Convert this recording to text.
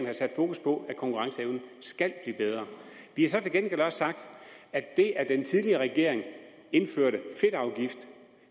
har sat fokus på at konkurrenceevnen skal blive bedre vi har så til gengæld også sagt at det at den tidligere regering indførte